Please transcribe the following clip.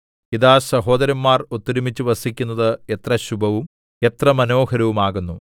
ഇതാ സഹോദരന്മാർ ഒത്തൊരുമിച്ചു വസിക്കുന്നത് എത്ര ശുഭവും എത്ര മനോഹരവും ആകുന്നു